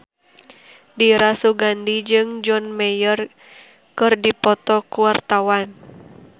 Dira Sugandi jeung John Mayer keur dipoto ku wartawan